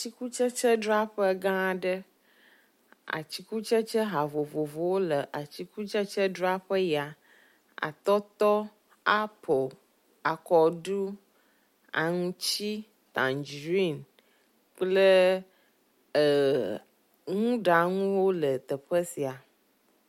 Atikutsetsedzraƒe gã aɖe. atikutse ha vovovowo le atikutsetse dzaƒe ya. Atɔtɔ, apel, akɔɖu, aŋutsi, tandziɖin kple e ŋuɖanuwo le teƒe sia.